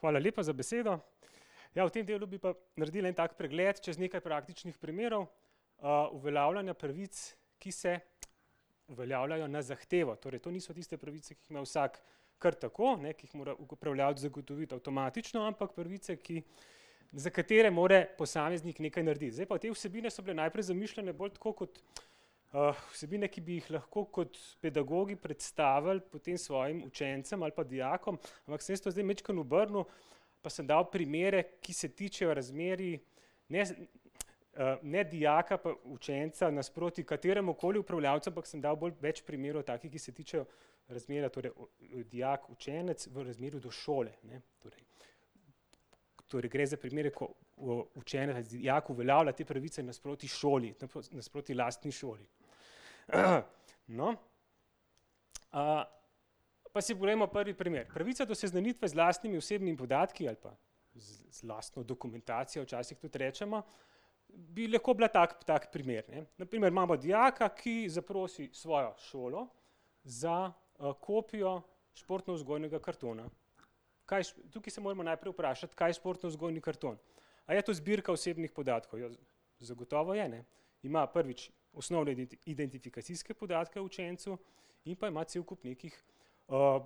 Hvala lepa za besedo. Ja, v tem delu bi pa naredili en tak pregled čez nekaj praktičnih primerov, uveljavljanja pravic, ki se uveljavljajo na zahtevo. Torej, to niso tiste pravice, ki jih ima vsak kar tako, ne, ki jih mora upravljavec zagotoviti avtomatično, ampak pravice, ki, za katere more posameznik nekaj narediti. Zdaj pa, te vsebine so bile najprej zamišljene bolj tako kot, vsebine, ki bi jih lahko kot pedagogi predstavili potem svojim učencem ali pa dijakom, ampak sem jaz to zdaj majčkeno obrnil, pa sem dal primere, ki se tičejo razmerij ne z ne dijaka pa učenca nasproti kateremukoli upravljavcu, ampak sem dal bolj, več primerov takih, ki se tičejo razmerja torej dijak, učenec v razmerju do šole. Torej, gre za primere, ko, učenec, dijak uveljavlja te pravice nasproti šoli, tako nasproti lastni šoli. No, pa si poglejmo prvi primer. Pravica do seznanitve z lastnimi osebnimi podatki ali pa z lastno dokumentacijo včasih tudi recimo, bi lahko bila tak, tak primer, ne. Na primer, imamo dijaka, ki zaprosi svojo šolo za, kopijo športnovzgojnega kartona. Kaj tukaj se moramo najprej vprašati, kaj je športnovzgojni karton. A je to zbirka osebnih podatkov? Ja, zagotovo je, ne. Ima prvič, osnovne identifikacijske podatke o učencu in pa ima cel kup nekih,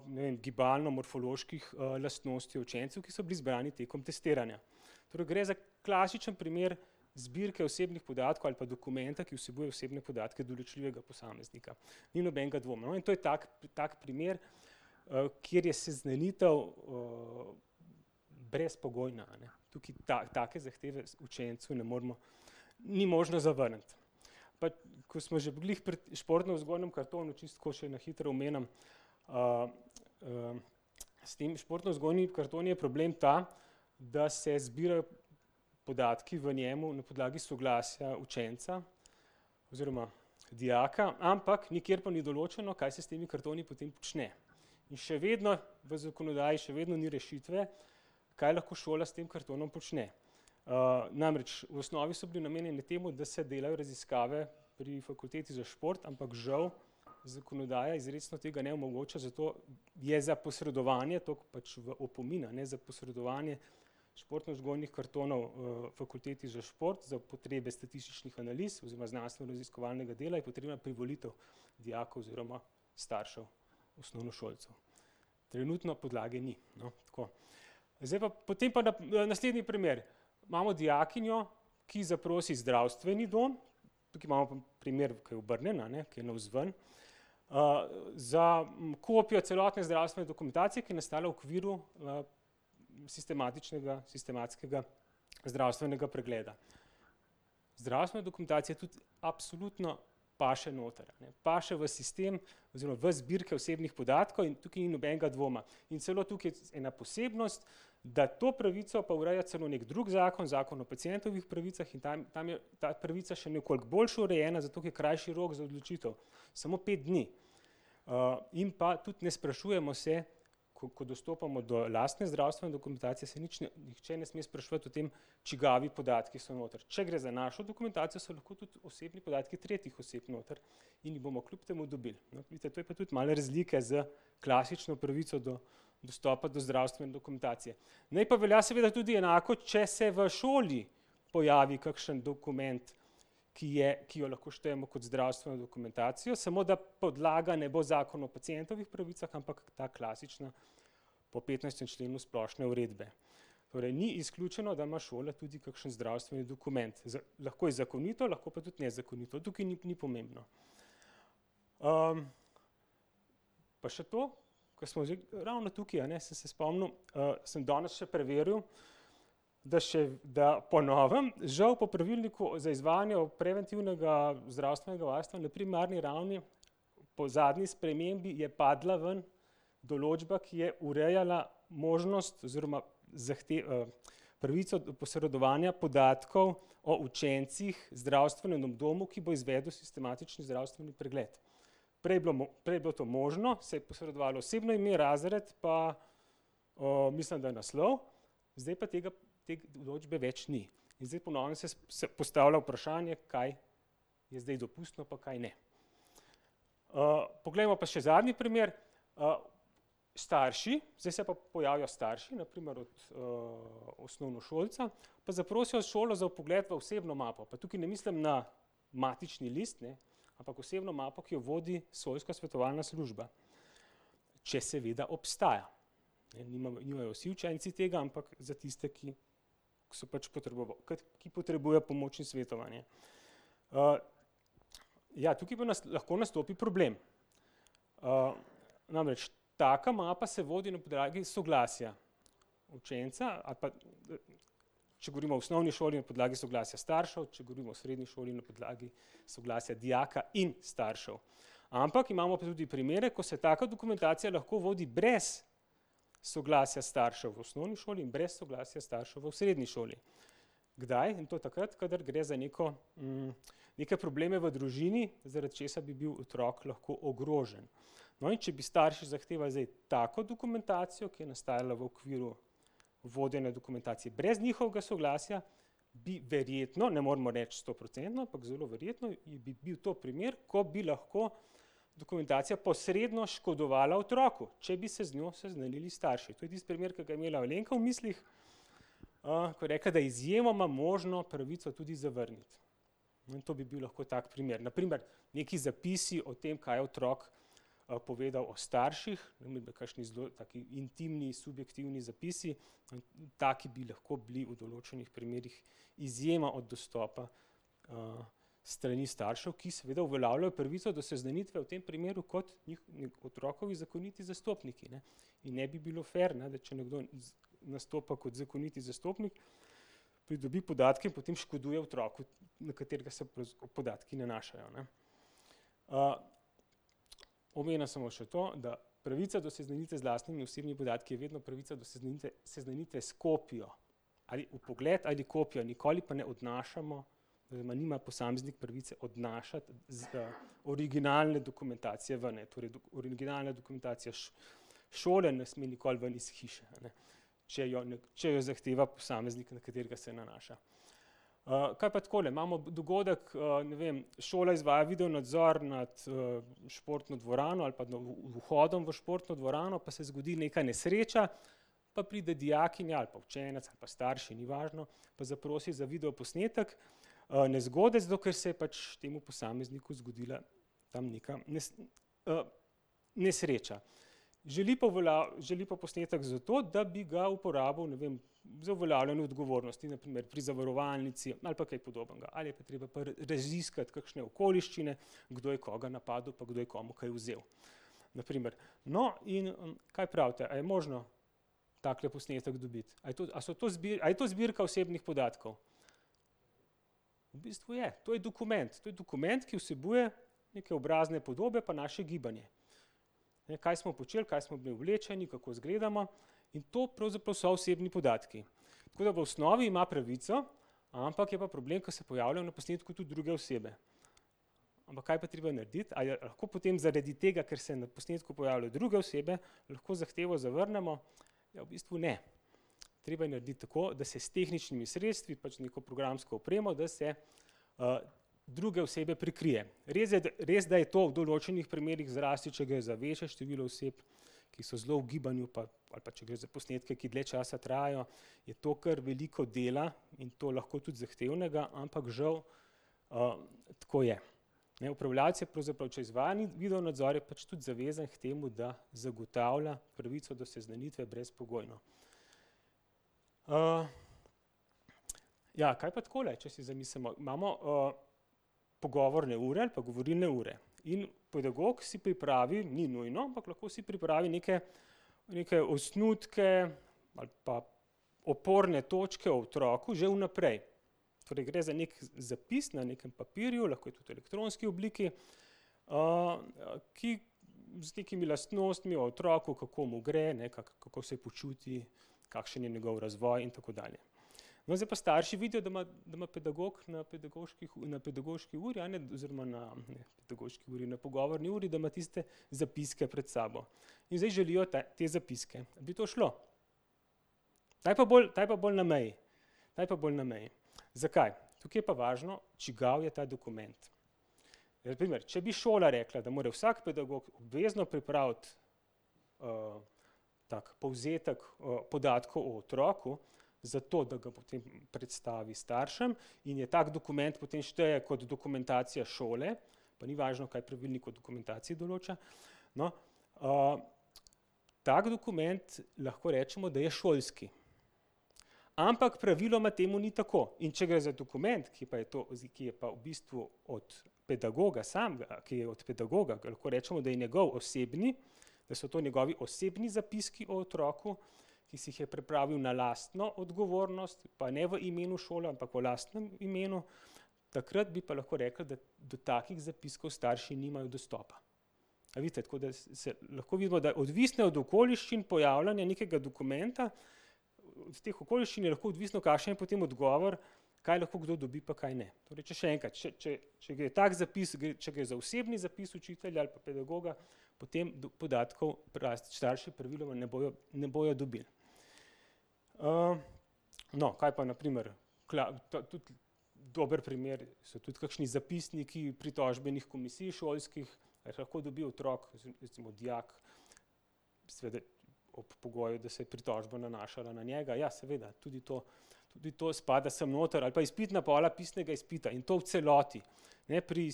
ne vem, gibalno-morfoloških lastnosti učencev, ki so bili zbrani tekom testiranja. Torej gre za klasičen primer zbirke osebnih podatkov ali pa dokumenta, ki vsebuje osebne podatke določljivega posameznika. Ni nobenega dvoma. No, in to je tak, tak primer, kjer je seznanitev, brezpogojna, a ne. Tukaj take zahteve učencu ne moremo, ni možno zavrniti. Pa ko smo že glih pri športnovzgojnem kartonu, čisto tako še na hitro omenim, s temi športnovzgojnimi kartoni je problem ta, da se zbirajo podatki v njem na podlagi soglasja učenca oziroma dijaka, ampak nikjer pa ni določeno, kaj se s temi kartoni potem počne. Še vedno, v zakonodaji še vedno ni rešitve, kaj lahko šola s tem kartonom počne. namreč v osnovi so bili namenjeni temu, da se delajo raziskave pri fakulteti za šport, ampak žal zakonodaja izrecno tega ne omogoča, zato je za posredovanje, tako pač v opomin, a ne, za posredovanje športnovzgojnih kartonov, fakulteti za šport za potrebe statističnih analiz oziroma znanstvenoraziskovalnega dela je potreba privolitev dijakov oziroma staršev osnovnošolcev. Trenutno podlage ni. No, tako. Zdaj pa, potem pa, naslednji primer. Imamo dijakinjo, ki zaprosi zdravstveni dom, tukaj imamo pa primer, ki je obrnjen, a ne, ki je navzven, za kopijo celotne zdravstvene dokumentacije, ki je nastala v okviru, sistematičnega, sistematskega zdravstvenega pregleda. Zdravstvena dokumentacija tudi absolutno paše noter, a ne. Paše v sistem oziroma v zbirke osebnih podatkov in tukaj ni nobenega dvoma. In celo tukaj je ena posebnost, da to pravico pa ureja celo neki drug zakon, Zakon o pacientovih pravicah, in tam, tam je, ta pravica še nekoliko boljše urejena, zato ker je krajši rok za odločitev. Samo pet dni. in pa tudi ne sprašujemo se, ko, ko dostopamo do lastne zdravstvene dokumentacije, se nič ne, nihče ne sme spraševati o tem, čigavi podatki so noter. Če gre za našo dokumentacijo, so lahko tudi osebni podatki tretjih oseb noter in jih bomo kljub temu dobili, ne. Vidite, to je pa tudi malo razlika s klasično pravico do dostopa do zdravstvene dokumentacije. Naj pa velja seveda tudi enako, če se v šoli pojavi kakšen dokument, ki je, ki ga lahko štejmo kot zdravstveno dokumentacijo, samo da podlaga ne bo Zakon o pacientovih pravicah, ampak ta klasična po petnajstem členu splošne uredbe. Torej ni izključeno, da ima šola tudi kakšen zdravstveni dokument, lahko je zakonito, lahko pa tudi nezakonito. Tukaj ni, ni pomembno. pa še to, ko smo ravno tukaj, a ne, sem se spomnil, sem danes še preverjal, da še, da po novem žal po pravilniku za izvajanje preventivnega zdravstvenega varstva na primarni ravni po zadnji spremembi je padla ven določba, ki je urejala možnost oziroma pravico posredovanja podatkov o učencih zdravstvenemu domu, ki bo izvedel sistematični zdravstveni pregled. Prej je bilo prej je bilo to možno, se je posredovalo osebno ime, razred pa, mislim, da naslov, zdaj pa tega, te določbe več ni. In zdaj po novem se se postavlja vprašanje, kaj je zdaj dopustno pa kaj ne. poglejmo pa še zadnji primer. starši, zdaj se pa pojavijo starši, na primer od, osnovnošolca, pa zaprosijo šolo za vpogled v osebno mapo, pa tukaj ne mislim na matični list, ne, ampak osebno mapo, ki jo vodi šolska svetovalna služba, če seveda obstaja. Ne, nimajo vsi učenci tega, ampak za tiste, ki so pač ke potrebujejo pomoč in svetovanje. ja, tukaj bo lahko nastopi problem. namreč taka mapa se vodi na podlagi soglasja učenca ali pa, če govorimo o osnovni šoli, na podlagi soglasja staršev, če govorimo o srednji šoli, na podlagi soglasja dijaka in staršev. Ampak imamo pa tudi primere, ko se taka dokumentacija lahko vodi brez soglasja staršev v osnovni šoli in brez soglasja staršev v srednji šoli. Kdaj? In to je takrat, kadar gre za neko, neke probleme v družini, zaradi česar bi bil otrok lahko ogrožen. No, in če bi starši zahtevali zdaj tako dokumentacijo, ki je nastajala v okviru vodenja dokumentacije brez njihovega soglasja, bi verjetno, ne moremo reči stoprocentno, ampak zelo verjetno je bi bil to primer, ko bi lahko dokumentacija posredno škodovala otroku, če bi se z njo seznanili starši. To je tisti primer, ki ga je imela Alenka v mislih, ko je rekla, da je izjemoma možno pravico tudi zavrniti. In to bi bil lahko tak primer. Na primer neki zapisi o tem, kaj je otrok, povedal o starših, kakšni zelo taki intimni, subjektivni zapisi, taki bi lahko bili v določenih primerih, izjema od dostopa, s strani staršev, ki seveda uveljavljajo pravico do seznanitve v tem primeru kot otrokovi zakoniti zastopniki, ne. In ne bi bilo fer, ne, da če nekdo nastopa kot zakoniti zastopnik, pridobi podatke in potem škoduje otroku, na katerega se podatki nanašajo, ne. omenim samo še to, da pravica do seznanitve z lastnimi osebnimi podatki je vedno pravica do seznanitve s kopijo. Ali vpogled ali kopija. Nikoli pa ne odnašamo oziroma nima posameznik pravice odnašati originalne dokumentacije ven, ne. Torej originalna dokumentacija šole ne sme nikoli ven iz hiše, a ne. Če jo če jo zahteva posameznik, na katerega se nanaša. kaj pa takole? Imamo dogodek, ne vem, šola izvaja videonadzor nad, športno dvorano ali pa vhodom v športno dvorano, pa se zgodi neka nesreča pa pride dijakinja ali pa učenec ali pa starši, ni važno, pa zaprosi za videoposnetek, nezgode, zato ker se je pač temu posamezniku zgodila tam nekaj nesreča. Želi pa želi pa posnetek zato, da bi ga uporabil, ne vem, za uveljavljanje odgovornosti, na primer pri zavarovalnici ali pa kaj podobnega. Ali je treba raziskati kakšne okoliščine, kdo je koga napadel pa kdo je komu kaj vzel, na primer. No, in, kaj pravite, a je možno takle posnetek dobiti? A je to, a so to a je to zbirka osebnih podatkov? V bistvu je, to je dokument. To je dokument, ki vsebuje neke obrazne podobe pa naše gibanje. Kaj smo počeli, kaj smo bili oblečeni, kako izgledamo. In to pravzaprav so osebni podatki. Tako da v osnovi ima pravico, ampak je pa problem, ker se pojavljajo na posnetku tudi druge osebe. Ampak kaj je pa treba narediti? A je lahko potem zaradi tega, ker se na posnetku pojavljajo druge osebe, lahko zahtevo zavrnemo? Ja, v bistvu ne. Treba je narediti tako, da se s tehničnimi sredstvi, pač neko programsko opremo, da se, druge osebe prikrije. res, da je to v določenih primerih, zlasti če gre za večje število oseb, ki so zelo v gibanju, pa ali pa če gre za posnetke, ki dlje časa trajajo, je to kar veliko dela, in to lahko tudi zahtevnega, ampak žal, tako je. Ne, upravljavec je pravzaprav, če izvaja neki videonadzor, je pač tudi zavezan k temu, da zagotavlja pravico do seznanitve brezpogojno. ja, kaj pa takole, če se zamislimo? Imamo, pogovorne ure ali pa govorilne ure. In pedagog si pripravi, ni nujno, ampak lahko si pripravi neke, neke osnutke ali pa oporne točke o otroku že vnaprej. Torej gre za neki zapis na nekem papirju, lahko je tudi v elektronski obliki, ki, z nekimi lastnostmi o otroku, kako mu gre, ne, kako se počuti, kakšen je njegov razvoj in tako dalje. No, zdaj pa starši vidijo, da ima, da ima pedagog na pedagoških, na pedagoški uri, a ne, oziroma na pedagoški uri, na pogovorni uri, da ima tiste zapiske pred sabo. In zdaj želijo te zapiske. Bi to šlo? Ta je pa bolj, ta je pa bolj na meji. Ta je pa bolj na meji. Zakaj? Tukaj je pa važno, čigav je ta dokument. Na primer, če bi šola rekla, da mora vsak pedagog obvezno pripraviti, tak povzetek, podatkov o otroku, zato da ga potem predstavi staršem, in je tak dokument potem šteje kot dokumentacija šole, pa ni važno, kaj pravilnik o dokumentaciji določa. No, tak dokument lahko rečemo, da je šolski. Ampak praviloma temu ni tako. In če gre za dokument, ki pa je to ki je pa v bistvu od pedagoga samega, ki je od pedagoga, lahko rečemo, da je njegov osebni, da so to njegovi osebni zapiski o otroku, ki si jih je pripravil na lastno odgovornost, pa ne v imenu šole, ampak v lastnem imenu, takrat bi pa lahko rekli, da do takih zapiskov starši nimajo dostopa. A vidite? Tako da se, lahko vidimo, da odvisno je od okoliščin pojavljanja nekega dokumenta, od teh okoliščin je lahko odvisno, kakšen je potem odgovor, kaj lahko kdo dobi pa kaj ne. Torej če še enkrat, če, če gre tak zapis, če gre za osebni zapis učitelja ali pa pedagoga, potem podatkov starši praviloma ne bojo, ne bojo dobili. no, kaj pa na primer tudi dober primer so tudi kakšni zapisniki pritožbenih komisij šolskih, pa jih lahko dobi otrok, recimo dijak, seveda ob pogoju, da se je pritožba nanašala na njega. Ja, seveda. Tudi to, tudi to spada sem noter. Ali pa izpitna pola pisnega izpita in to v celoti. Ne, pri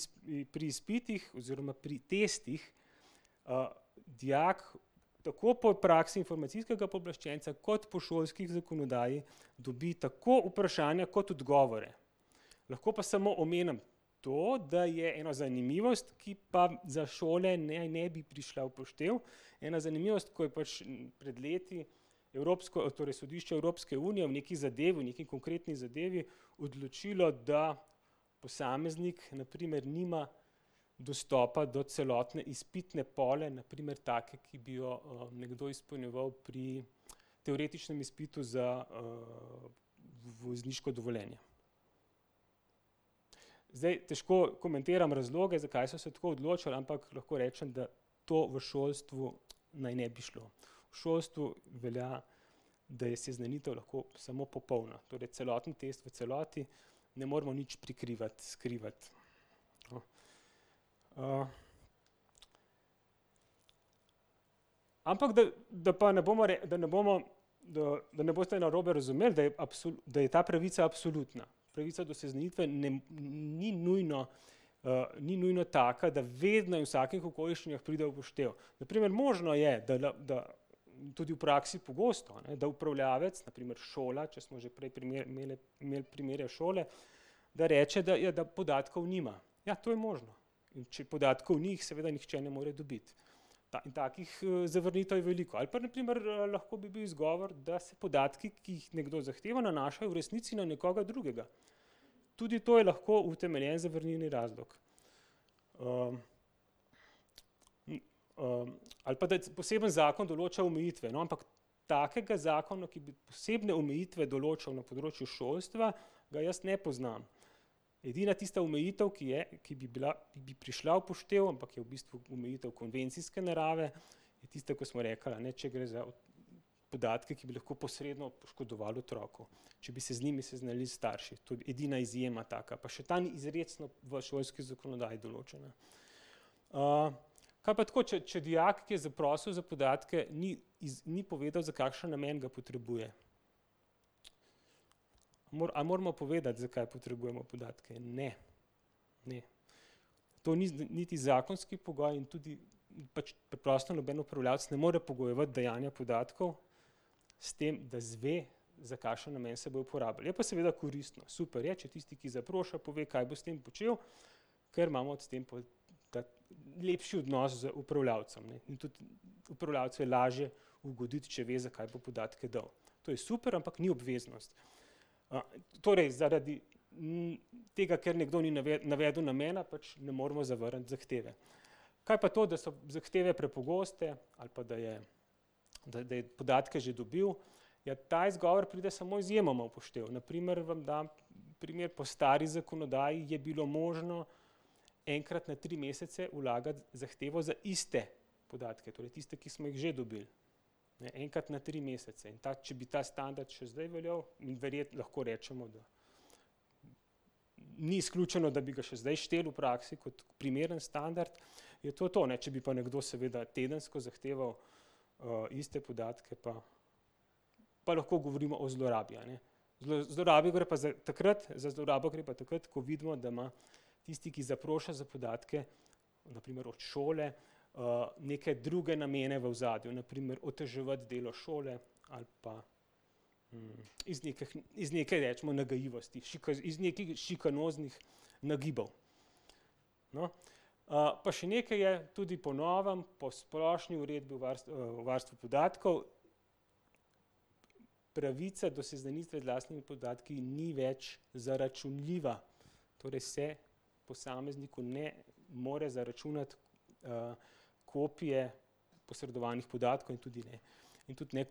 pri izpitih oziroma pri tistih, dijak tako po praksi informacijskega pooblaščenca kot po šolski zakonodaji, dobi tako vprašanja kot odgovore. Lahko pa samo omenim to, da je ena zanimivost, ki pa za šole ne, ne bi prišla v poštev. Ena zanimivost, ko je pač pred leti evropsko, torej sodišče Evropske unije v neki zadevi, v neki konkretni zadevi odločilo, da posameznik na primer nima dostopa do celotne izpitne pole, na primer take, ki bi jo, nekdo izpolnjeval pri teoretičnem izpitu za, vozniško dovoljenje. Zdaj, težko komentiram razloge, zakaj so se tako odločili, ampak lahko rečem, da to v šolstvu naj ne bi šlo. V šolstvu velja, da je seznanitev lahko samo popolna. Torej, celoten test v celoti, ne moremo nič prikrivati, skrivati. Ampak da, da pa ne bomo da ne bomo, da ne boste narobe razumeli, da je da je ta pravica absolutna. Pravica do seznanitve ne ni nujno, ni nujno taka, da vedno in v vsakih okoliščinah pride v poštev. Na primer možno je, da, da, in tudi v praksi pogosto, a ne, da upravljavec, na primer šola, če smo že pri prej imeli primere šole, da reče, da, ja, da podatkov nima. Ja, to je možno. Če podatkov ni, jih seveda nihče ne more dobiti. takih, zavrnitev je veliko. Ali pa na primer, lahko bi bil izgovor, da se podatki, ki jih nekdo zahteva, nanašajo v resnici na nekoga drugega. Tudi to je lahko utemeljen zavrnilni razlog. ali pa da poseben zakon določa omejitve. No, ampak takega zakona, ki bi posebne omejitve določal na področju šolstva, ga jaz ne poznam. Edina tista omejitev, ki je, ki bi bila, ki bi prišla v poštev, ampak je v bistvu omejitev konvencijske narave, je tista, ki smo rekli, a ne, če gre za podatke, ki bi lahko posredno škodovali otroku, če bi se z njimi seznanili starši. To je edina izjema taka, pa še ta ni izrecno v šolski zakonodaji določena. kaj pa tako, če, če dijak, ki je zaprosil za podatke, ni ni povedal, za kakšen namen ga potrebuje? a moramo povedati, zakaj potrebujemo podatke? Ne. To ni niti zakonski pogoj in tudi pač preprosto noben upravljavec ne more pogojevati dajanja podatkov s tem, da izve, za kakšen namen se bodo uporabili. Je pa seveda koristno, super je, če tisti, ki zaproša, pove, kaj bo s tem počel, ker imamo s tem tako lepši odnos z upravljavcem, ne, in tudi upravljavcu je lažje ugoditi, če ve, zakaj bo podatke dal. To je super, ampak ni obveznost. torej zaradi, tega, ker nekdo ni navedel namena, pač ne moremo zavrniti zahteve. Kaj pa to, da so zahteve prepogoste ali pa da je, da, da je podatke že dobil? Ja, ta izgovor pride samo izjemoma v poštev. Na primer, vam dam primer, po stari zakonodaji je bilo možno enkrat na tri mesece vlagati zahtevo za iste podatke, torej tiste, ki smo jih že dobili. Enkrat na tri mesece. In ta, če bi ta standard še zdaj veljal, bi lahko, recimo ni izključeno, da bi ga še zdaj štel v praksi kot primeren standard, je to to, ne. Če bi pa nekdo seveda tedensko zahteval, iste podatke, pa, pa lahko govorimo o zlorabi, a ne. Za zlorabo gre pa takrat, za zlorabo gre pa takrat, ko vidimo, da ima tisti, ki zaproša za podatke, na primer od šole, neke druge namene v ozadju, na primer oteževati delo šole ali pa, iz iz neke, recimo, nagajivosti, iz nekih šikanoznih nagibov. No, pa še nekaj je. Tudi po novem, po splošni uredbi o varstvu podatkov pravica do seznanitve z lastnimi podatki ni več zaračunljiva. Torej se posamezniku ne more zaračunati, kopije, posredovanih podatkov in tudi ne, in tudi ne,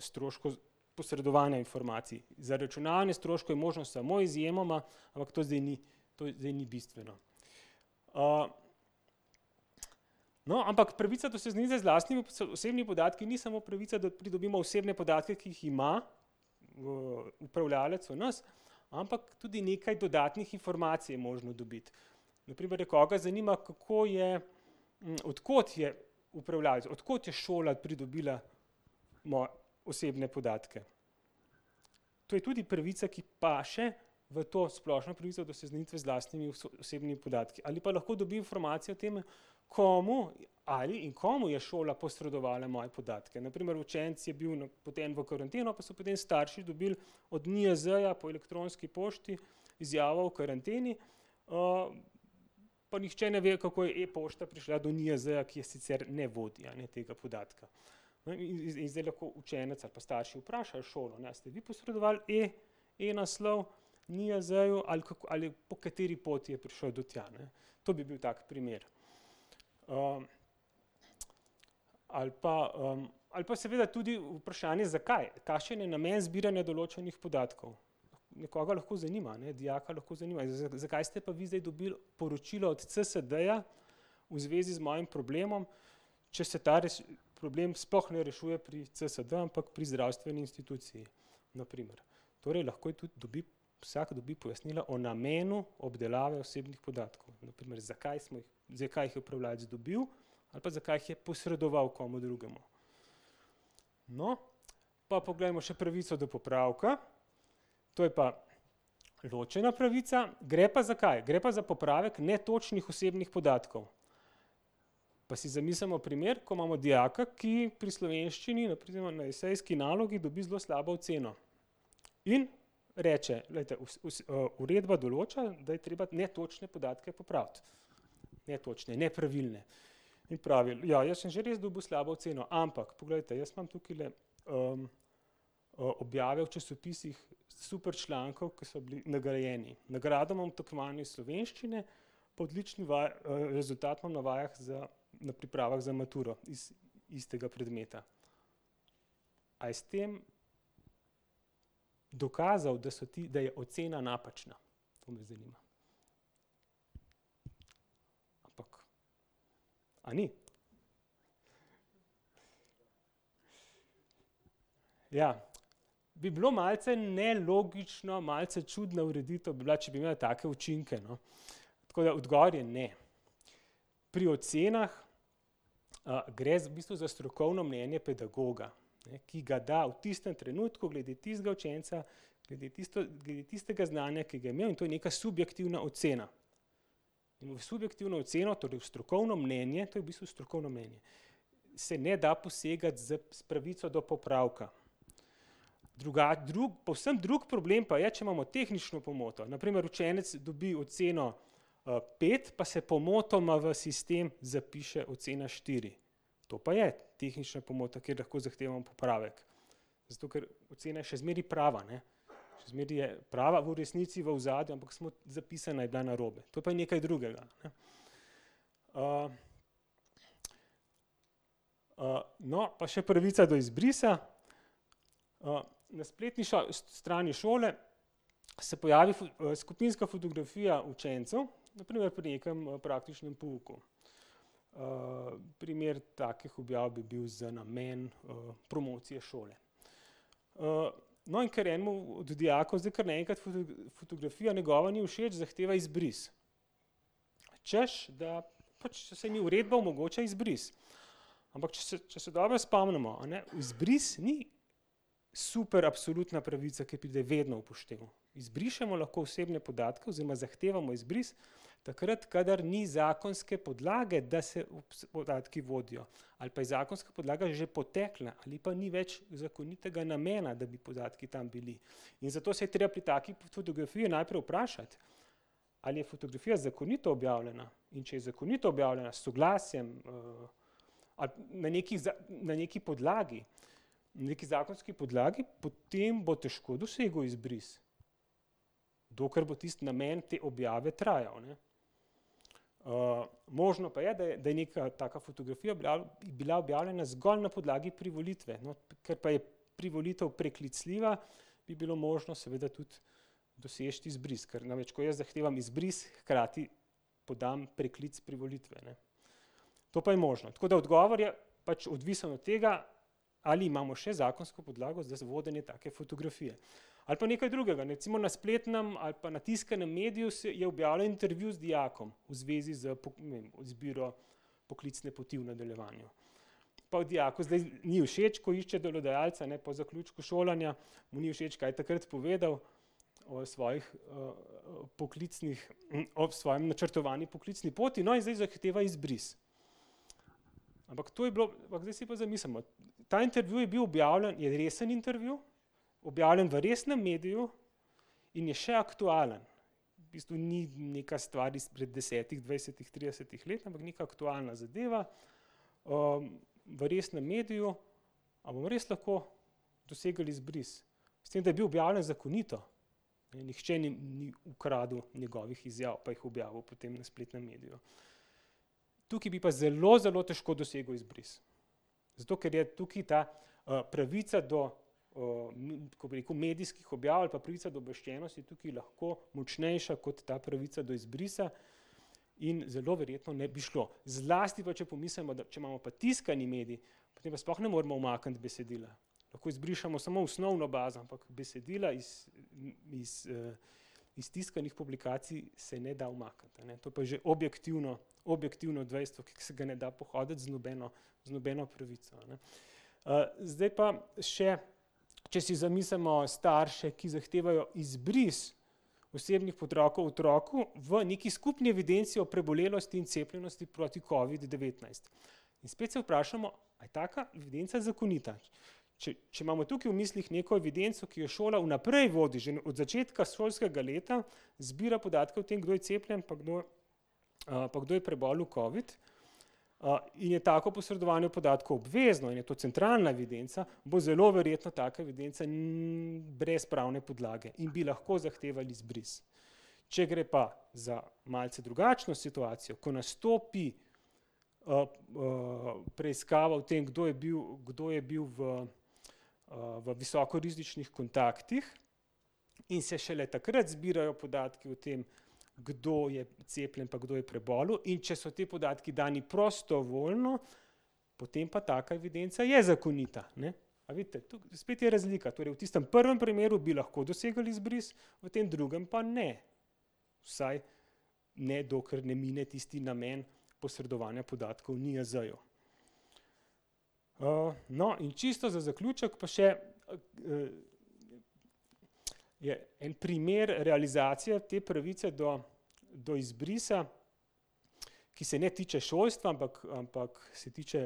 stroškov posredovanja informacij. Zaračunavanje stroškov je možno samo izjemoma, ampak to zdaj ni, to zdaj ni bistveno. no, ampak pravica do seznanitve z lastnimi osebnimi podatki ni samo pravica, da pridobimo osebne podatke, ki jih ima, upravljavec o nas, ampak tudi nekaj dodatnih informacij je možno dobiti. Na primer nekoga zanima, kako je, od kod je upravljavec, od kod je šola pridobila osebne podatke. To je tudi pravica, ki paše v to splošno pravico do seznanitve z lastnimi osebnimi podatki, ali pa lahko dobi informacije o tem, komu, ali in komu je šola posredovala moje podatke. Na primer učenec je bil napoten v karanteno, pa so potem starši dobili od NIJZ-ja po elektronski pošti izjavo o karanteni, pa nihče ne ve, kako je e-pošta prišla do NIJZ-ja, ki je sicer ne vodi, a ne, tega podatka. No, in zdaj lahko učenec ali pa starši vprašajo šolo: "A ste vi posredovali e-naslov NIJZ-ju ali ali po kateri poti je prišel do tja, ne?" To bi bil tak primer. ali pa, ali pa seveda tudi vprašanje, zakaj, kakšen je namen zbiranja določenih podatkov. Nekoga lahko zanima, ne, dijaka lahko zanima, zakaj ste pa vi zdaj dobili poročilo od CSD-ja v zvezi z mojim problemom, če se ta problem sploh ne rešuje pri CSD, ampak pri zdravstveni instituciji? Na primer. Torej lahko tudi dobi, vsak dobi pojasnilo o namenu obdelave osebnih podatkov. Na primer, zakaj smo jih, zakaj jih je upravljavec dobil ali pa zakaj jih je posredoval komu drugemu. No, pa poglejmo še pravico do popravka. To je pa ločena pravica. Gre pa za kaj? Gre pa za popravek netočnih osebnih podatkov. Pa si zamislimo primer, ko imamo dijaka, ki pri slovenščini oziroma na esejski nalogi dobi zelo slabo oceno. In reče: "Glejte, uredba določa, da je treba netočne podatke popraviti." Netočne, nepravilne. In pravi: "Ja, jaz sem že res dobil slabo oceno, ampak poglejte, jaz imam tukajle, objave v časopisih super člankov, ko so bili nagrajeni. Nagrado imam v tekmovanju iz slovenščine, pa odlični rezultat imam na vajah za, na pripravah za maturo iz istega predmeta." A je s tem dokazal, da so ti, da je ocena napačna? A ni? Ja. Bi bilo malce nelogično, malce čudna ureditev bi bila, če bi imela take učinke, no. Tako da odgovor je ne. Pri ocenah, gre v bistvu za strokovno mnenje pedagoga, ne, ki ga da v tistem trenutku glede tistega učenca, glede glede tistega znanja, ki ga je imel, in to je neka subjektivna ocena. In v subjektivno oceno, torej strokovno mnenje, to je v bistvu strokovno mnenje, se ne da posegati z, s pravico do popravka. drug, povsem drug problem pa je, če imamo tehnično pomoto. Na primer, učenec dobi oceno, pet pa se pomotoma v sistem zapiše ocena štiri. To pa je tehnična pomota, kjer lahko zahtevamo popravek. Zato ker ocena je še zmeraj prava, ne, še zmeraj je prava v resnici v ozadju, ampak smo zapisana je bila narobe. To pa je nekaj drugega, ne. no, pa še pravica do izbrisa. na spletni strani šole se pojavi skupinska fotografija učencev na primer pri nekem, praktičnem pouku. primer takih objav bi bil za namen, promocije šole. no, in ker enemu od dijakov zdaj kar naenkrat fotografija njegova ni všeč, zahteva izbris. Češ da pač "saj mi uredba omogoča izbris". Ampak če če se dobro spomnimo, a ne, izbris ni super absolutna pravica, ki pride vedno v poštev. Izbrišemo lahko osebne podatke oziroma zahtevamo izbris takrat, kadar ni zakonske podlage, da se podatki vodijo, ali pa je zakonska podlaga že potekla ali pa ni več zakonitega namena, da bi podatki tam bili. In zato se je treba pri taki fotografiji najprej vprašati, ali je fotografija zakonito objavljena. In če je zakonito objavljena, s soglasjem, ali na nekaj na neki podlagi, na neki zakonski podlagi, potem bo težko dosegel izbris, dokler bo tisti namen te objave trajal, a ne. možno pa je, da je, da je neka taka fotografija bila objavljena zgolj na podlagi privolitve. No, kar pa je privolitev preklicljiva, bi bilo možno seveda tudi doseči izbris. Ker namreč ko jaz zahtevam izbris, hkrati podam preklic privolitve, ne. To pa je možno. Tako da odgovor je pač odvisen od tega, ali imamo še zakonsko podlago za vodenje take fotografije. Ali pa nekaj drugega, ne. Recimo na spletnem ali pa na tiskanem mediju je objavljen intervju z dijakom v zvezi z ne vem, izbiro poklicne poti v nadaljevanju. Pa dijaku zdaj ni všeč, ko išče delodajalca, ne, po zaključku šolanja, mu ni všeč, kaj je takrat povedal o svojih, poklicnih, o svoji načrtovani poklicni poti. No, in zdaj zahteva izbris. Ampak to je bilo, no, zdaj si pa zamislimo. Ta intervju je bil objavljen, je resen intervju, objavljen v resnem mediju, in je še aktualen. V bistvu ni neka stvar izpred desetih, dvajsetih, tridesetih let, ampak neka aktualna zadeva, v resnem mediju. A bomo res lahko dosegli izbris? S tem, da je bil objavljen zakonito. Ne, nihče ni ni ukradel njegovih izjav pa jih objavil potem v spletnem mediju. Tukaj bi pa zelo, zelo težko dosegel izbris. Zato ker je tukaj ta, pravica do, kako bi rekel, medijskih objav ali pa pravica do obveščenosti, ki je lahko močnejša kot ta pravica do izbrisa, in zelo verjetno ne bi šlo. Zlasti pa če pomislimo, da, če imamo pa tiskani medij, potem pa sploh ne moremo umakniti besedila. Lahko izbrišemo samo osnovno bazo, ampak besedila iz, iz, iz tiskanih publikacij se ne da umakniti, a ne. To pa je že objektivno, objektivno dejstvo, ki se ga ne da pohoditi z nobeno, z nobeno pravico, a ne. zdaj pa še, če si zamislimo starše, ki zahtevajo izbris osebnih otroku v neki skupni evidenci o prebolelosti in cepljenosti proti covidu-devetnajst. In spet se vprašamo, a je taka evidenca zakonita. Če, če imamo tukaj v mislih neko evidenco, ki jo šola vnaprej vodi, že od začetka šolskega leta zbira podatke o tem, kdo je cepljen pa kdo, pa kdo je prebolel covid, je tako posredovanje podatkov obvezno in je to centralna evidenca, bo zelo verjetno taka evidenca brez pravne podlage in bi lahko zahteval izbris. Če gre pa za malce drugačno situacijo, ko nastopi, preiskava o tem, kdo je bil, kdo je bil v, v visoko rizičnih kontaktih, in se šele takrat zbirajo podatki o tem, kdo je cepljen pa kdo je prebolel, in če so ti podatki dani prostovoljno, potem pa taka evidenca je zakonita, ne. A vidite? spet je razlika. Torej v tistem prvem primeru bi lahko dosegli izbris, v tem drugem pa ne. Vsaj ne dokler ne, ne bi tisti namen posredovanja podatkov NIJZ-ju. no, in čisto za zaključek pa še, je en primer realizacije te pravice do, do izbrisa, ki se ne tiče šolstva, ampak, ampak se tiče,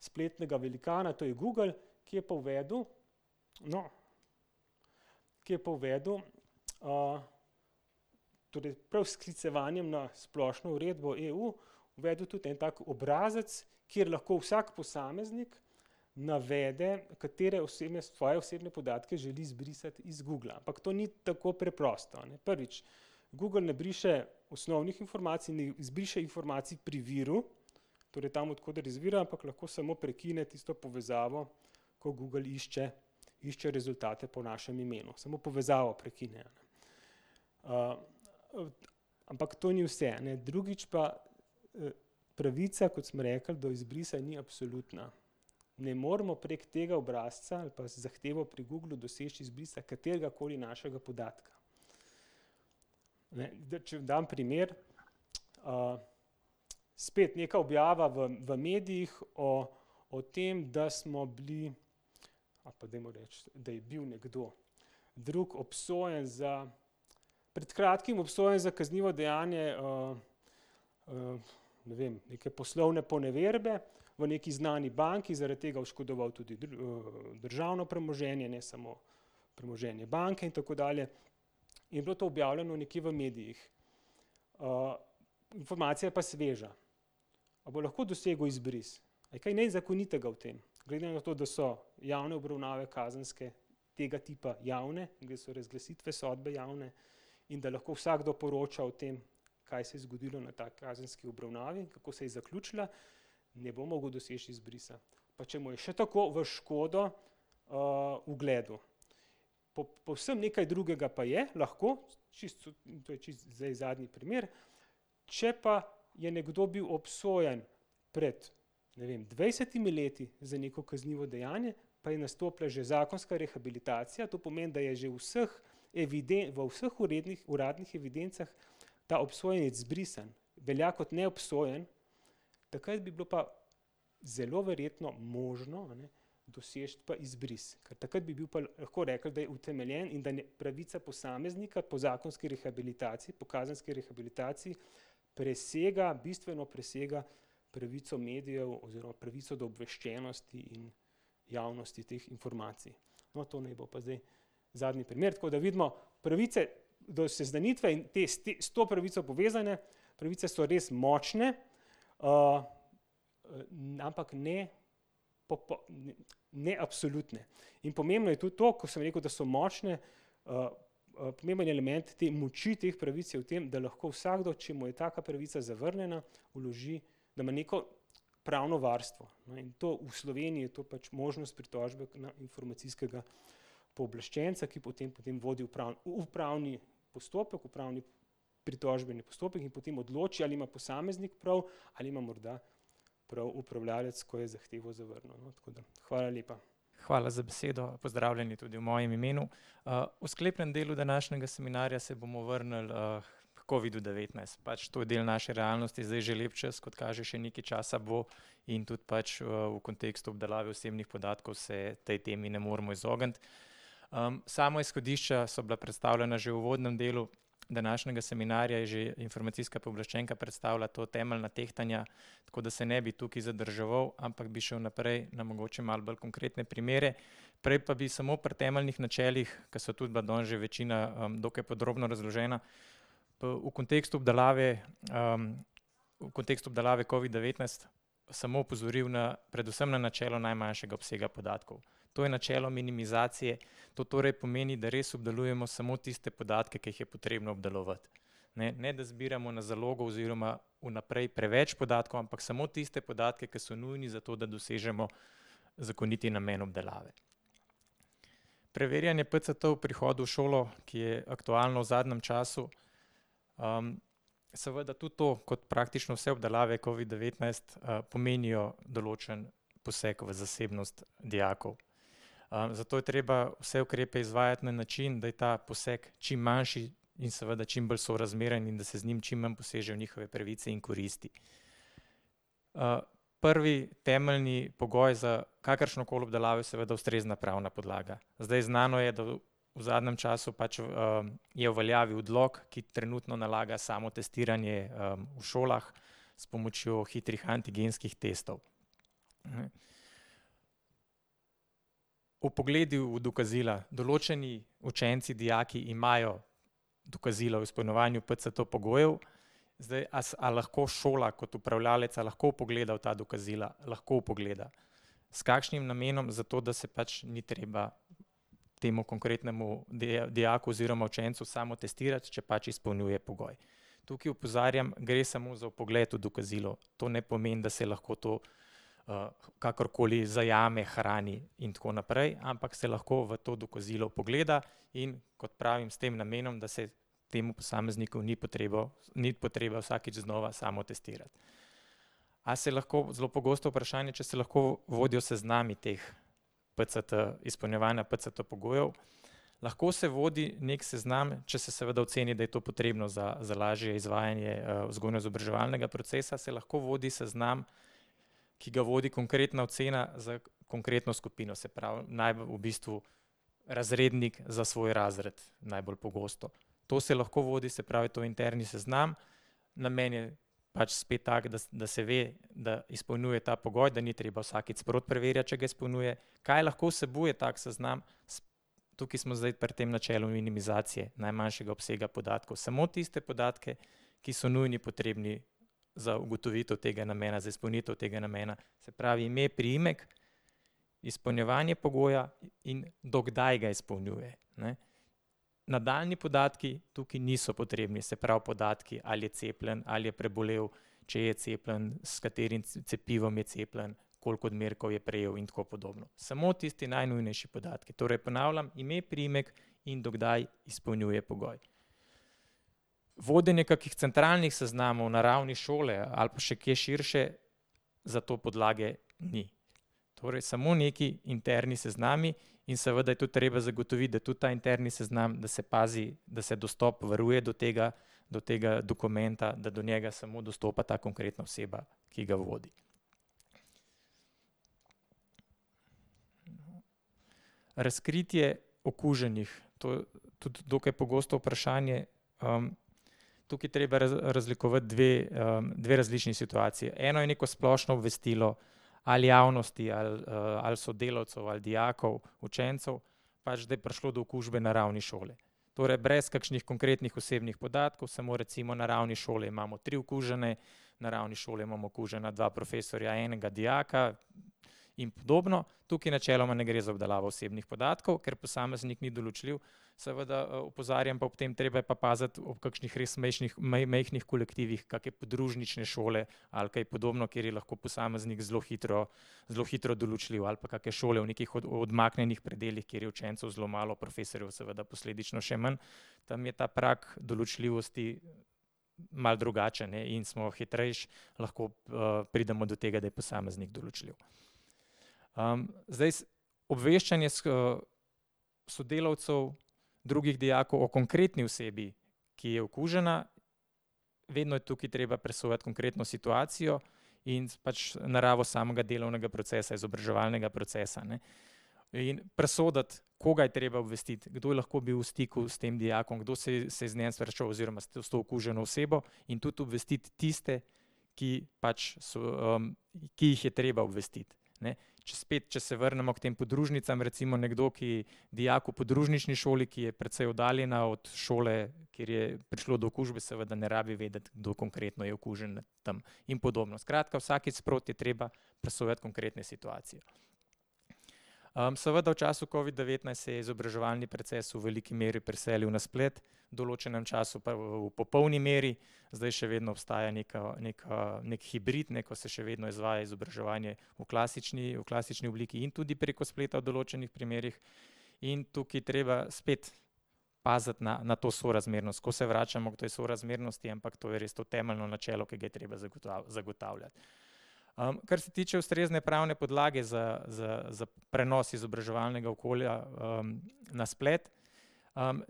spletnega velikana, to je Google, ki je pa uvedel, no, ki je pa uvedel, torej prav s sklicevanjem na splošno uredbo EU, uvedel tudi en tak obrazec, kjer lahko vsak posameznik navede, katere osebne, svoje osebne podatke želi izbrisati iz Googla. Ampak to ni tako preprosto, a ne. Prvič, Google ne briše osnovnih informacij, ne izbriše informacij pri viru, torej tam, od koder izvirajo, ampak lahko samo prekine tisto povezavo, ko Google išče, išče rezultate po našem imenu. Samo povezavo prekine. ampak to ni vse, a ne. Drugič pa, pravica, kot smo rekli, do izbrisa ni absolutna. Ne moremo prek tega obrazca ali pa z zahtevo pri Googlu doseči izbrisa kateregakoli našega podatka. Ne, če dam primer, spet nekaj objava v, v medijih o, o tem, da smo bili, ali pa dajmo reči, da je bil nekdo drug obsojen za, pred kratkim obsojen za kaznivo dejanje, ne vem, neke poslovne poneverbe v neki znani banki, zaradi tega oškodoval tudi, državno premoženje, ne samo premoženje banke in tako dalje. In je bilo to objavljeno nekje v medijih. informacija je pa sveža. A bo lahko dosegel izbris? A je kaj nezakonitega v tem? Glede na to, da so javne obravnave kazenske tega tipa javne in da so razglasitve sodbe javne in da lahko vsakdo poroča o tem, kaj se je zgodilo na taki kazenski obravnavi in kako se je zaključila, ne bo mogel doseči izbrisa. Pa če mu je še tako v škodo, ugledu. povsem nekaj drugega pa je lahko čisto to je čisto zdaj zadnji primer, če pa je nekdo bil obsojen pred, ne vem, dvajsetimi leti za neko kaznivo dejanje, pa je nastopila že zakonska rehabilitacija, to pomeni, da je že v vseh v vseh uradnih evidencah ta obsojenec izbrisan, velja kot neobsojen, takrat bi bilo pa zelo verjetno možno, a ne, doseči pa izbris, ker takrat bi bil pa, lahko rekli, da je utemeljen in da pravica posameznika po zakonski rehabilitaciji, po kazenski rehabilitaciji, presega, bistveno presega pravico medijev oziroma pravico do obveščenosti in javnosti teh informacij. No, to ne bo pa zdaj zadnji primer. Tako da vidimo, pravice do seznanitve in te, s s to pravico povezane pravice so res močne, ampak ne ne absolutne. In pomembno je tudi to, ko sem rekel, da so močne, pomemben element te moči teh pravic je v tem, da lahko vsakdo, če mu je taka pravica zavrnjena, vloži, da ima neko pravno varstvo, a ne. To, v Sloveniji je to pač možnost pritožbe na informacijskega pooblaščenca, ki potem vodi upravni postopek, upravni pritožbeni postopek in potem odloči, ali ima posameznik prav ali ima morda prav upravljavec, ko je zahtevo zavrnil, no, tako da ... Hvala lepa. Hvala za besedo, pozdravljeni tudi v mojem imenu. v sklepnem delu današnjega seminarja se bomo vrnili, h covidu-devetnajst. Pač to je del naše realnosti zdaj že lep čas, kot kaže, še nekaj časa bo, in tudi pač, v kontekstu obdelave osebnih podatkov se tej temi ne moremo izogniti. sama izhodišča so bila predstavljena že v uvodnem delu današnjega seminarja, je že informacijska pooblaščenka predstavila to, temeljna tehtanja, tako da se ne bi tukaj zadrževal, ampak bi šli naprej na mogoče malo bolj konkretne primere. Prej pa bi samo pri temeljnih načelih, ki so tudi bila danes že večina, dokaj podrobno razložena, v kontekstu obdelave, v kontekstu obdelave covid-devetnajst samo opozoril na, predvsem na načelo najmanjšega obsega podatkov. To je načelo minimizacije, to torej pomeni, da res obdelujemo samo tiste podatke, ki jih je potrebno obdelovati, ne, ne da zbiramo na zalogo oziroma vnaprej preveč podatkov, ampak samo tiste podatke, ki so nujni zato, da dosežemo zakoniti namen obdelave. Preverjanje PCT ob prihodu v šolo, ki je aktualno v zadnjem času, seveda tudi to, kot praktično vse obdelave covid-devetnajst, pomenijo določen poseg v zasebnost dijakov. zato je treba vse ukrepe izvajati na način, da je ta poseg čim manjši in seveda čim bolj sorazmeren in da se z njim čim manj poseže v njihove pravice in koristi. prvi temeljni pogoj za kakršnokoli obdelavo je seveda ustrezna pravna podlaga. Zdaj, znano je, da v zadnjem času pač, je v veljavi odlok, ki trenutno nalaga samotestiranje, v šolah s pomočjo hitrih antigenskih testov. vpogledi v dokazila. Določeni učenci, dijaki, imajo dokazila o izpolnjevanju PCT-pogojev, zdaj a a lahko šola kot upravljavec, a lahko vpogleda v ta dokazila? Lahko vpogleda. S kakšnim namenom? Zato, da se pač ni treba temu konkretnemu dijaku oziroma učencu samotestirati, če pač izpolnjuje pogoj. Tukaj opozarjam, gre samo za vpogled v dokazilo. To ne pomeni, da se lahko to, kakorkoli zajame, hrani in tako naprej, ampak se lahko v to dokazilo vpogleda, in kot pravim, s tem namenom, da se temu posamezniku ni potrebo, ni potrebno vsakič znova samotestirati. A se lahko, zelo pogosto vprašanje, če se lahko vodjo seznami teh PCT, izpolnjevanja PCT-pogojev. Lahko se vodi neki seznam, če se seveda oceni, da je to potrebno za, za lažje izvajanje, vzgojno-izobraževalnega procesa, se lahko vodi seznam, ki ga vodi konkretna ocena s konkretno skupino, se pravi najbolj v bistvu razrednik za svoj razred, najbolj pogosto. To se lahko vodi, se pravi, to je interni seznam, namen je pač spet tak, da da se ve, da izpolnjuje ta pogoj, da ni treba vsakič sproti preverjati, če ga izpolnjuje. Kaj lahko vsebuje tak seznam? Tukaj smo zdaj pri tem načelu minimizacije, najmanjšega obsega podatkov. Samo tiste podatke, ki so nujni potrebni za ugotovitev tega namena, za izpolnitev tega namena. Se pravi ime, priimek, izpolnjevanje pogoja, in do kdaj ga izpolnjuje, ne. Nadaljnji podatki tukaj niso potrebni, se pravi podatki, ali je cepljen ali je prebolel, če je cepljen, s katerim cepivom je cepljen, koliko odmerkov je prejel in tako podobno. Samo tisti najnujnejši podatki. Torej ponavljam ime, priimek in do kdaj izpolnjuje pogoj. Vodenje kakih centralnih seznamov na ravni šole ali pa še kje širše, za to podlage ni. Torej samo neki interni seznami in seveda je tudi treba zagotoviti, da tudi ta interni seznam, da se pazi, da se dostop varuje do tega, do tega dokumenta, da do njega samo dostopa ta konkretna oseba, ki ga vodi. Razkritje okuženih, to je tudi dokaj pogosto vprašanje. tukaj je treba razlikovati dve, dve različni situaciji. Eno je neko splošno obvestilo ali javnosti ali, ali sodelavcev ali dijakov, učencev, pač da je prišlo do okužbe na ravni šole. Torej brez kakšnih konkretnih osebnih podatkov, samo recimo na ravni šole imamo tri okužene, na ravni šole imamo okužena dva profesorja, enega dijaka in podobno. Tukaj načeloma ne gre za obdelavo osebnih podatkov, ker posameznik ni določljiv, seveda, opozarjam pa ob tem, treba je pa paziti ob kakšnih res majhnih kolektivih, kake podružnične šole ali kaj podobno, kjer je lahko posameznik zelo hitro, zelo hitro določljiv, ali pa kakšne šole v nekih odmaknjenih predelih, kjer je učencev zelo malo, profesorjev seveda posledično še manj. Tam je pa prag določljivosti malo drugačen, ne, in smo hitreje lahko, pridemo do tega, da je posameznik določljiv. zdaj obveščanje sodelavcev, drugih dijakov o konkretni osebi, ki je okužena, vedno je tukaj treba presojati konkretno situacijo in pač naravo samega delovnega procesa, izobraževalnega procesa, ne. In presoditi, koga je treba obvestiti, kdo je lahko bil v stiku s tem dijakom, kdo se je z njim srečeval oziroma s to okuženo osebo, in tudi obvestiti tiste, ki pač so, ki jih je treba obvestiti, ne. Če spet, če se vrnemo k tem podružnicam. Recimo nekdo, ki, dijak v podružnični šoli, ki je precej oddaljena od šole, kjer je prišlo do okužbe, seveda ne rabi vedeti, kdo konkretno je okužen tam in podobno. Skratka, vsakič sproti je treba presojati konkretne situacije. seveda v času covid-devetnajst se je izobraževalni proces v veliki meri preselil na splet, v določenem času pa v popolni meri. Zdaj še vedno obstaja neka, neka, neki hibrid, ne, ko se še vedno izvaja izobraževanje v klasični, v klasični obliki in tudi preko spleta v določenih primerih. In tukaj treba spet paziti na, na to sorazmernost, skozi se vračamo k tej sorazmernosti, ampak to je res to temeljno načelo, ki ga je treba zagotavljati. kar se tiče ustrezne pravne podlage za, za, za prenos izobraževalnega okolja, na splet,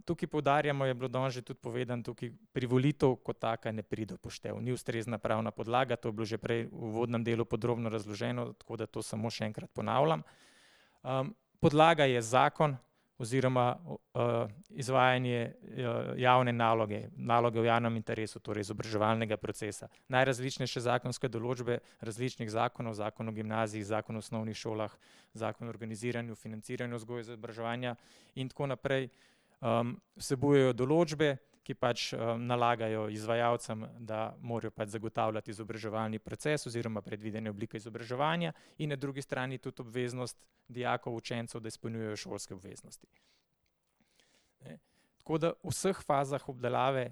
tukaj poudarjamo, je bilo danes že tudi povedano tukaj, privolitev kot taka ne pride v poštev, ni ustrezna pravna podlaga, to je bilo že prej v uvodnem delu podrobno razloženo, tako da to samo še enkrat ponavljam. podlaga je zakon oziroma, izvajanje, javne naloge, naloge v javnem interesu, torej izobraževalnega procesa. Najrazličnejše zakonske določbe različnih zakonov, Zakon o gimnaziji, Zakon o osnovnih šolah, Zakon o organiziranju in financiranju vzgoje in izobraževanja in tako naprej, vsebujejo določbe, ki pač, nalagajo izvajalcem, da morajo pač zagotavljati izobraževalni proces oziroma predvidene oblike izobraževanja in na drugi strani tudi obveznost dijakov, učencev, da izpolnjujejo šolske obveznosti. Tako da v vseh fazah obdelave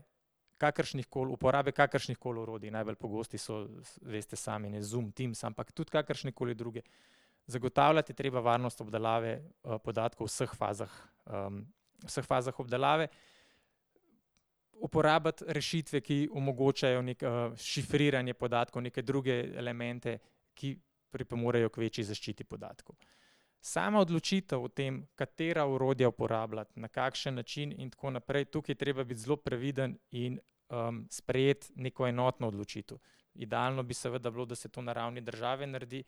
kakršnihkoli, uporabe kakršnihkoli orodij, najbolj pogosti so, veste sami, ne, Zoom, Teams, ampak tudi kakršnekoli druge, zagotavljati je treba varnost obdelave, podatkov v vseh fazah, vseh fazah obdelave. Uporabiti rešitve, ki omogočajo neko, šifriranje podatkov, neke druge elemente, ki pripomorejo k večji zaščiti podatkov. Sama odločitev o tem, katera orodja uporabljati, na kakšen način in tako naprej, tukaj je treba biti zelo previden in, sprejeti neko enotno odločitev. Idealno bi seveda bilo, da se to na ravni države naredi,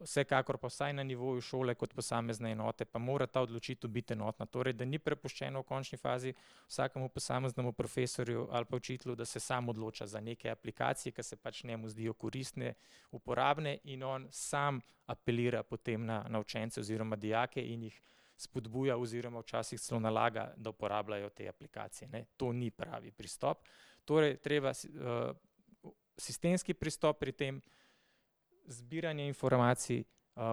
vsekakor pa vsaj na nivoju šole kot posamezne enote pa mora ta odločitev biti enotna. Torej, da ni prepuščena v končni fazi vsakemu posameznemu profesorju ali pa učitelju, da se sam odloča za neke aplikacije, kar se pač njemu zdijo koristne, uporabne, in on sam apelira potem na, na učence oziroma dijake in jih spodbuja oziroma včasih celo nalaga, da uporabljajo te aplikacije, ne. To ni pravi pristop. Torej treba sistemski pristop pri tem. Zbiranje informacij,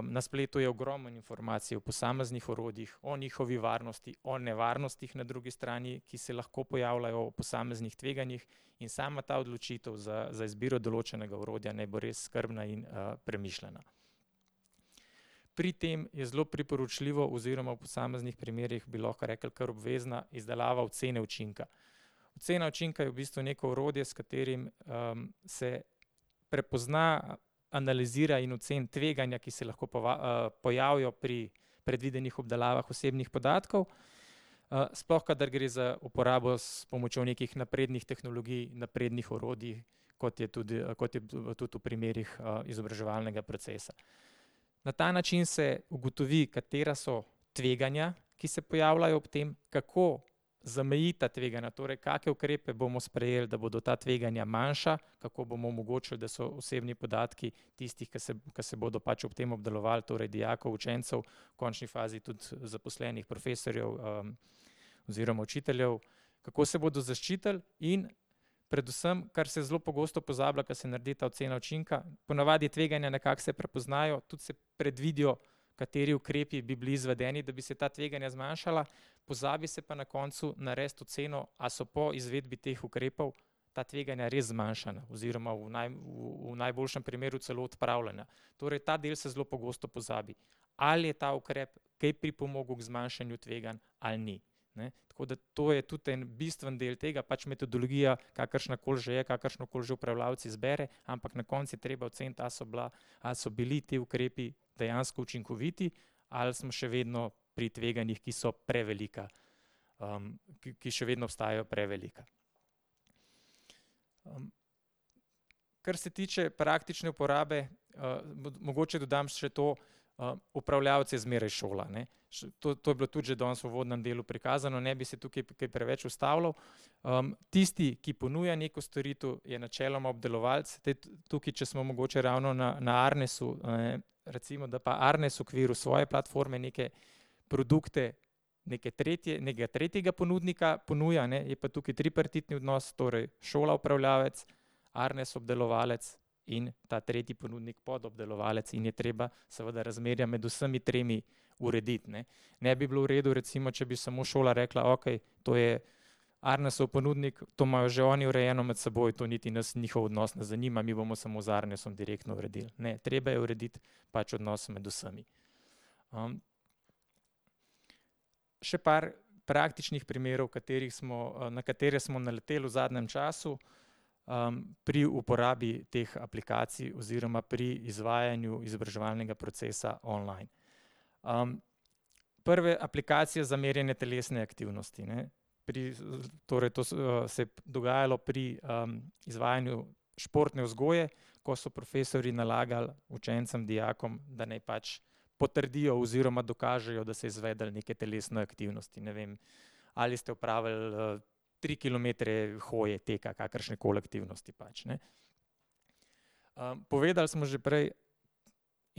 na spletu je ogromno informacij o posameznih orodjih, o njihovi varnosti, o nevarnostih na drugi strani, ki se lahko pojavljajo, o posameznih tveganjih. In sama ta odločitev za, za izbiro določenega orodja naj bo res skrbna in, premišljena. Pri tem je zelo priporočljivo oziroma v posameznih primerih bi lahko rekli kar obvezna izdelava ocene učinka. Ocena učinka je v bistvu neko orodje, s katerim, se prepozna, analizira in oceni tveganja, ki se lahko pojavijo pri predvidenih obdelavah osebnih podatkov, sploh kadar gre za uporabo s pomočjo nekih naprednih tehnologij, naprednih orodij, kot je tudi, kot je tudi v primerih, izobraževalnega procesa. Na ta način se ugotovi, katera so tveganja, ki se pojavljajo ob tem, kako zamejiti ta tveganja, torej kake ukrepe bomo sprejeli, da bodo ta tveganja manjša, kako bomo omogočili, da so osebni podatki tistih, ki se, ki se bodo pač ob tem obdelovali, torej dijakov, učencev, v končni fazi tudi zaposlenih, profesorjev, oziroma učiteljev, kako se bodo zaščitili in predvsem, kar se zelo pogosto pozablja, ko se naredi ta ocena učinka, ponavadi tveganja nekako se prepoznajo, tudi se predvidijo, kateri ukrepi bi bili izvedeni, da bi se ta tveganja zmanjšala, pozabi se pa na koncu narediti oceno, a so po izvedbi teh ukrepov ta tveganja res zmanjšana oziroma v v, v najboljšem primeru celo odpravljena. Torej ta del se zelo pogosto pozabi. Ali je ta ukrep kaj pripomogel k zmanjšanju tveganj ali ni, ne. Tako da to je to je tudi en bistveni del tega, pač metodologija, kakršnakoli že je, kakršnokoli že upravljavec izbere, ampak na koncu je treba oceniti, a so bila, ali so bili ti ukrepi dejansko učinkoviti, ali smo še vedno pri tveganjih, ki so prevelika, ki še vedno ostajajo prevelika. Kar se tiče praktične uporabe, mogoče dodam še to, upravljavec je zmeraj šola, ne. to, to je bilo tudi že danes v uvodnem delu prikazano, ne bi se tukaj kaj preveč ustavljal. tisti, ki ponuja neko storitev, je načeloma obdelovalec, tukaj, če smo mogoče ravno na, na Arnesu, a ne, recimo da pa Arnes v okviru svoje platforme neke produkte neke tretje, nekega tretjega ponudnika ponuja, ne, je pa tukaj tripartitni odnos, torej šola upravljavec, Arnes obdelovalec in ta tretji ponudnik podobdelovalec in je treba seveda razmerja med vsemi tremi urediti, ne. Ne bi bilo v redu, recimo, če bi samo šola rekla: "Okej, to je Arnesov ponudnik, to imajo že oni urejeno med sboj, to niti nas njihov odnos ne zanima, mi bomo samo z Arnesom direktno uredili." Ne, treba je urediti pač odnos med vsemi. še par praktičnih primerov, katerih smo, na katere smo naleteli v zadnjem času, pri uporabi teh aplikacij oziroma pri izvajanju izobraževalnega procesa online. prve aplikacije za merjenje telesne aktivnosti, ne. Pri, torej to se je dogajalo pri, izvajanju športne vzgoje, ko so profesorji nalagali učencem, dijakom, da naj pač potrdijo oziroma dokažejo, da so izvedli neke telesne aktivnosti, ne vem, ali ste opravili, tri kilometre hoje, tukaj, kakršnekoli aktivnosti pač, ne. povedali smo že prej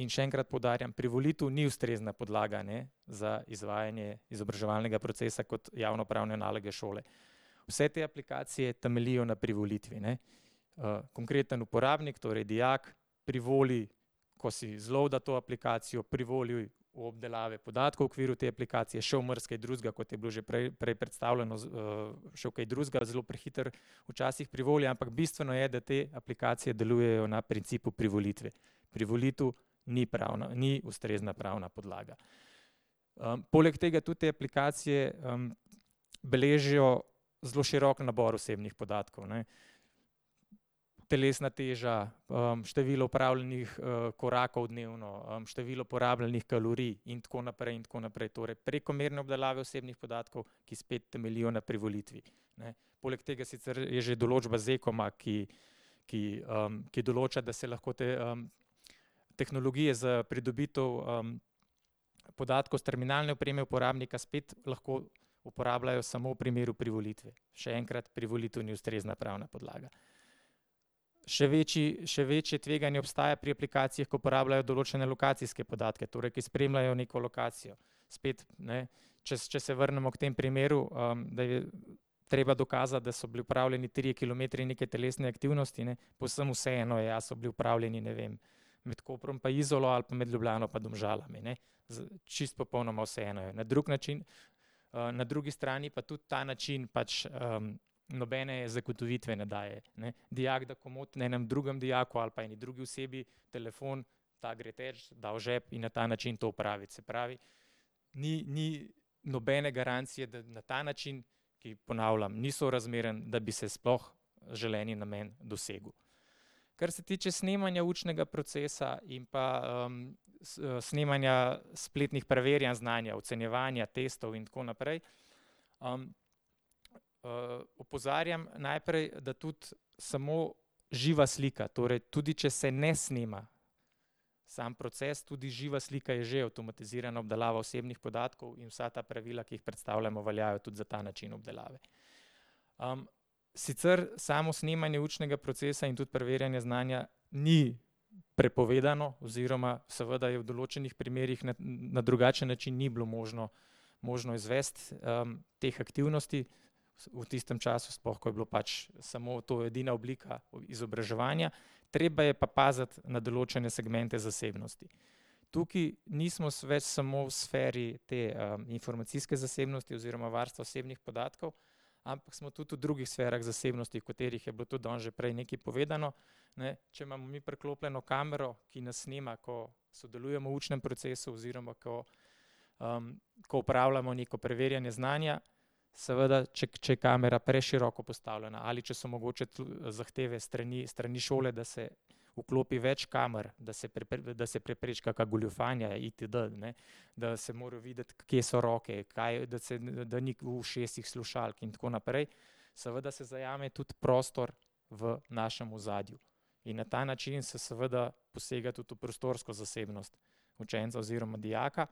in še enkrat poudarjam, privolitev ni ustrezna podlaga, ne, za izvajanje izobraževalnega procesa kot javnopravne naloge šole. Vse te aplikacije temeljijo na privolitvi, ne. konkreten uporabnik, torej dijak, privoli, ko si zloada to aplikacijo, privoli v obdelave podatkov v okviru te aplikacije, še v marsikaj drugega, kot je bilo že prej, prej predstavljeno z, še v kaj drugega zelo prehitro včasih privoli, ampak bistveno je, da te aplikacije delujejo na principu privolitve. Privolitev ni pravna, ni ustrezna pravna podlaga. poleg tega tudi te aplikacije, beležijo zelo širok nabor osebnih podatkov, ne. Telesna teža, število opravljenih, korakov dnevno, število porabljenih kalorij in tako naprej in tako naprej. Torej, prekomerna obdelava osebnih podatkov, ki spet temeljijo na privolitvi, ne. Poleg tega sicer je že določba z Ekoma, ki, ki, ki določa, da se lahko tehnologije za pridobitev, podatkov s terminalne opreme uporabnika spet lahko uporabljajo samo v primeru privolitve. Še enkrat, privolitev ni ustrezna pravna podlaga. Še večji, še večje tveganje obstaja pri aplikacijah, ki uporabljajo določene lokacijske podatke, torej ki spremljajo neko lokacijo. Spet, ne, če če se vrnemo k temu primeru, da je treba dokazati, da so bili opravljeni trije kilometri neke telesne aktivnosti, ne, povsem vseeno je, a so bili opravljeni, ne vem, med Koprom pa Izolo ali pa med Ljubljano pa Domžalami, ne. čisto popolnoma vseeno je. Na drug način, na drugi strani pa tudi ta način pač, nobene zagotovitve ne daje, ne. Dijak da komot enemu drugemu dijaku ali pa eni drugi osebi telefon, ta gre teč, da v žep in na ta način to opravi. Se pravi, ni, ni nobene garancije, da na ta način, ki ponavljam, ni sorazmeren, da bi se sploh želeni namen dosegel. Kar se tiče snemanja učnega procesa in pa, snemanja spletnih preverjanj znanja, ocenjevanja, testov in tako naprej, opozarjam najprej, da tudi smo živa slika, torej tudi če se ne snema samo proces, tudi živa slika je že avtomatizirana obdelava osebnih podatkov, in vsa ta pravila, ki jih predstavljamo, veljajo tudi za ta način obdelave. sicer samo snemanje učnga procesa in tudi preverjanja znanja ni prepovedano oziroma seveda je v določenih primerih na drugačen način ni bilo možno, možno izvesti, teh aktivnosti. V tistem času sploh, ko je bilo pač samo to edina oblika izobraževanja. Treba je pa paziti na določene segmente zasebnosti. Tukaj nismo več samo v sferi te, informacijske zasebnosti oziroma varstva osebnih podatkov, ampak smo tudi v drugih sferah zasebnosti, o katerih je pa bilo tudi danes že prej bilo nekaj povedano, ne, če imamo mi priklopljeno kamero, ki nas snema, ko sodelujemo v učnem procesu oziroma ko, ko opravljamo neko preverjanje znanja, seveda če, če je kamera preširoko postavljena ali če so mogoče tudi zahteve s strani, s strani šole, da se vklopi več kamer, da se da se prepreči kaka goljufanja itd., ne, da se mora videti, kje so roke, kaj, da se, da ni v ušesih slušalk in tako naprej, seveda se zajame tudi prostor v našem ozadju. In na ta način se seveda posega tudi v prostorsko zasebnost učenca oziroma dijaka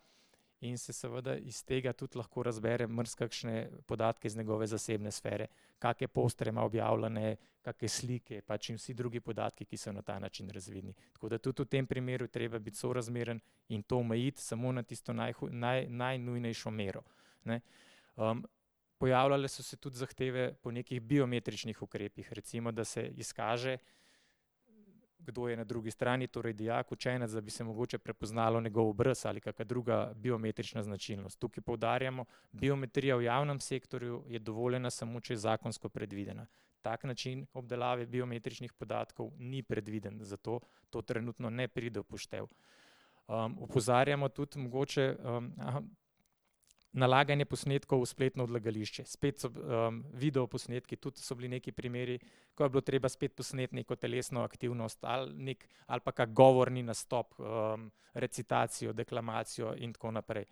in se seveda iz tega tudi lahko razbere marsikakšne podatke iz njegove zasebne sfere. Kake posterje ima objavljene, kake slike pač in vsi drugi podatki, ki so na ta način razvidni. Tako da tudi v tem primeru je treba biti sorazmeren in to omejiti samo na tisto najnujnejšo mero, ne. pojavljale so se tudi zahteve po nekih biometričnih ukrepih, recimo, da se izkaže, kdo je na drugi strani, torej dijak, učenec, da bi se mogoče prepoznalo njegov obraz ali kaka druga biometrična značilnost. Tukaj poudarjamo, biometrija v javnem sektorju je dovoljena samo, če je zakonsko predvidena. Tak način obdelave biometričnih podatkov ni predviden, zato to trenutno ne pride v poštev. opozarjamo tudi mogoče, nalaganje posnetkov v spletno odlagališče. Spet so, videoposnetki tudi so bili neki primeri, ko je bilo treba spet posneti neko telesno aktivnost ali nekaj, ali pa kak govorni nastop, recitacijo, deklamacijo in tako naprej.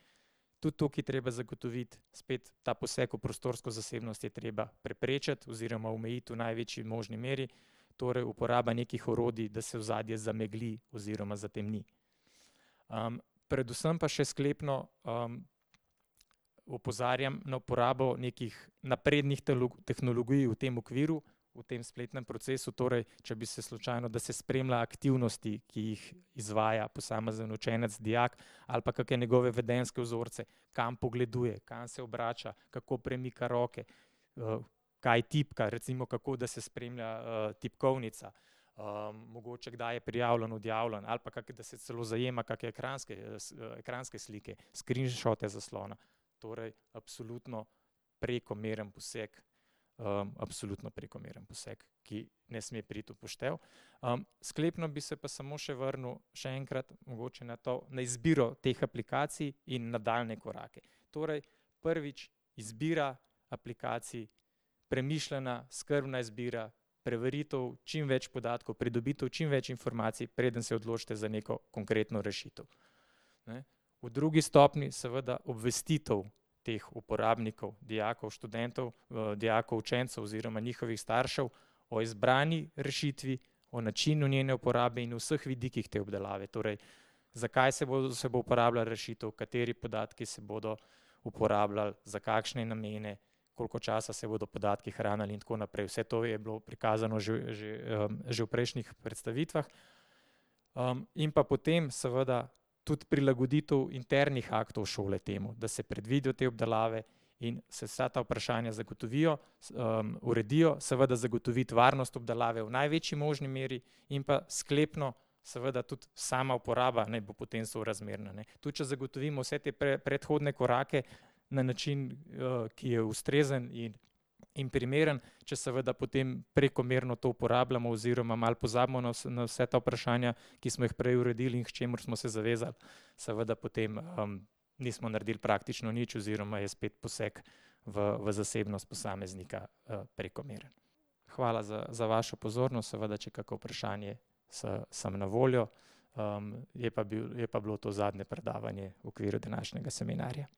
Tudi tukaj je treba zagotoviti, spet, ta poseg v prostorsko zasebnost je treba preprečiti oziroma omejiti v največji možni meri, torej uporaba nekih orodij, da se ozadje zamegli oziroma zatemniti. predvsem pa še sklepno, opozarjam na uporabo nekih naprednih tehnologij v tem okviru, v tem spletnem procesu, torej če bi se slučajno, da se spremlja aktivnosti, ki jih izvaja posamezen učenec, dijak, ali pa kake njegove vedenjske vzorce. Kam pogleduje, kam se obrača, kako premika roke, kaj tipka, recimo kako, da se spremlja tipkovnica. mogoče kdaj je prijavljen, odjavljen, ali pa kakšne, da se celo zajema kake ekranske, ekranske slike, screenshote zaslona. Torej absolutno prekomeren poseg, absolutno prekomeren poseg, ki ne sme priti v poštev. sklepno bi se pa smo še vrnil še enkrat mogoče na to, na izbiro teh aplikacij in nadaljnje korake. Torej prvič, izbira aplikacij, premišljena, skrbna izbira, preveritev čim več podatkov, pridobitev čim več informacij, preden se odločite za neko konkretno rešitev, ne. V drugi stopnji seveda obvestitev teh uporabnikov, dijakov, študentov, dijakov, učencev oziroma njihovih staršev o izbrani rešitvi, o načinu njene uporabe in vseh vidikih te obdelave. Torej zakaj se bo, se bo uporabljala rešitev, kateri podatki se bodo uporabljali, za kakšne namene, koliko časa se bodo podatki hranili in tako naprej. Vse to je bilo prikazano že, že v prejšnjih predstavitvah. in pa potem seveda tudi prilagoditev internih aktov šole temu. Da se predvidijo te obdelave in se vsa ta vprašanja zagotovijo, uredijo, seveda zagotoviti varnost obdelave v največji možni meri in pa sklepno seveda tudi sama uporaba naj bo potem sorazmerna, ne. Tudi če zgotovimo vse te predhodne korake na način, ki je ustrezen in, in primeren, če seveda potem prekomerno to uporabljamo oziroma malo pozabimo na na vsa ta vprašanja, ki smo jih prej uredili, in k čemur smo se zavezali, seveda potem, nismo naredili praktično nič oziroma je spet poseg v, v zasebnost posameznika, prekomeren. Hvala za, za vašo pozornost. Seveda če je kako vprašanje, sem na voljo, je pa bil, je pa bilo to zadnje predavanje v okviru današnjega seminarja.